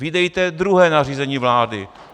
Vydejte druhé nařízení vlády.